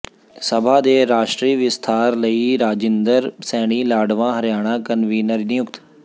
ਸਭਾ ਦੇ ਰਾਸ਼ਟਰੀ ਵਿਸਥਾਰ ਲਈ ਰਾਜਿੰਦਰ ਸੈਣੀ ਲਾਡਵਾਂ ਹਰਿਆਣਾ ਕਨਵੀਨਰ ਨਿਯੁਕਤ